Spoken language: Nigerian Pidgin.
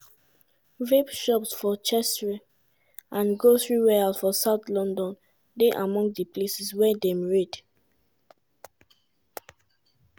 vape shops for cheshire and grocery warehouse for south london dey among di places wia dem raid.